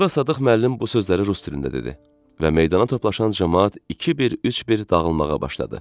Sonra Sadıq müəllim bu sözləri rus dilində dedi və meydana toplaşan camaat iki bir, üç bir dağılmağa başladı.